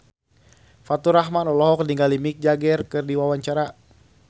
Faturrahman olohok ningali Mick Jagger keur diwawancara